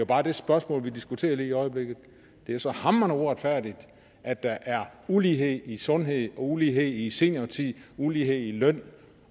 bare det spørgsmål vi diskuterer lige i øjeblikket det er så hamrende uretfærdigt at der er ulighed i sundhed ulighed i seniortid ulighed i løn